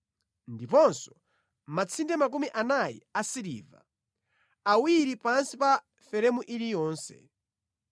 ndiponso matsinde makumi anayi asiliva, awiri pansi pa feremu iliyonse.